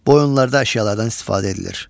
Bu oyunlarda əşyalardan istifadə edilir.